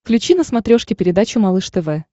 включи на смотрешке передачу малыш тв